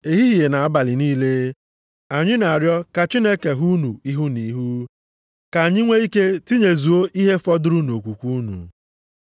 Ehihie na abalị niile, anyị na-arịọ ka anyị hụ unu ihu na ihu, ka anyị nwee ike tinyezuo ihe fọdụrụ nʼokwukwe unu.